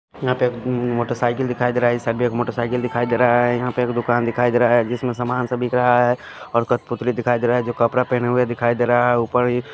यहां पे एक मोटरसाइकिल दिखाई दे रहा है इस साइड भी एक मोटरसाइकिल दिखाई दे रहा है यहां पे एक दुकान दिखाई दे रहा है जिसमें समान सा बिक रहा है और कठपुतली दिखाई दे रहा है कपड़ा पहना हुए दिखाई दे रहा है ऊपर --